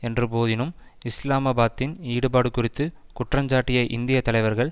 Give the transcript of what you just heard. என்ற போதினும் இஸ்லாமாபாத்தின் ஈடுபாடு குறித்து குற்றஞ்சாட்டிய இந்திய தலைவர்கள்